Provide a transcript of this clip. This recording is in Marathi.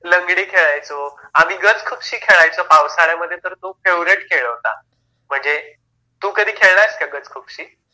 हो हो लंगडी खेळायचा आम्ही गज खूपशी खेळायचो पावसाळ्यामध्ये तर तो फेव्हरेट खेळ होता म्हणजे तू कधी खेळला आहेस का गज खूपशी